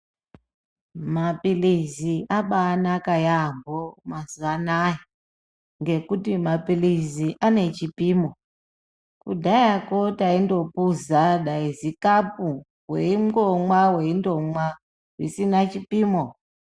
Mapilizi abayanaka yambo, mazuvanaya ngekuti mapilizi anechipimo. Kudhaya ko tayindophuza zikapu weyingomwa. weyindomwaa zvichina chipimo.